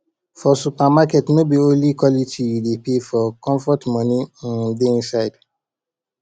for supermarket no be only quality you dey pay for comfort moni um dey inside am